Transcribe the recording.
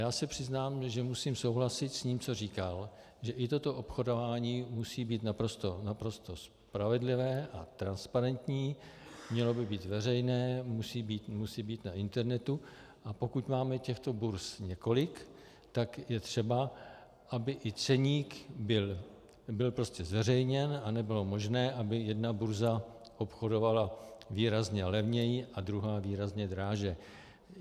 Já se přiznám, že musím souhlasit s tím, co říkal, že i toto obchodování musí být naprosto spravedlivé a transparentní, mělo by být veřejné, musí být na internetu, a pokud máme těchto burz několik, tak je třeba, aby i ceník byl prostě zveřejněn a nebylo možné, aby jedna burza obchodovala výrazně levněji a druhá výrazně dráže.